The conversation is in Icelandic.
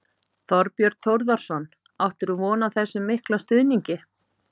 Þorbjörn Þórðarson: Áttirðu von á þessum mikla stuðningi?